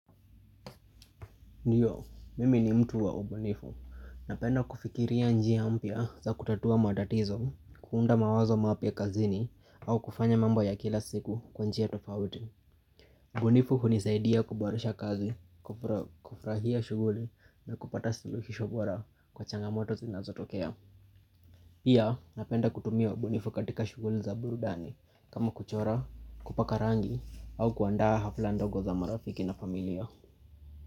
Ndiyo, mimi ni mtu wa ubunifu. Napenda kufikiria njia mpya za kutatua matatizo, kuunda mawazo mapya kazini, au kufanya mambo ya kila siku kwa njia tofauti. Ubunifu hunisaidia kuboresha kazi, kufrahia shuguli na kupata suluhisho bora kwa changamoto zinazotokea. Pia, napenda kutumia ubunifu katika shuguli za burudani, kama kuchora, kupaka rangi, au kuandaa hafla ndogo za marafiki na familia.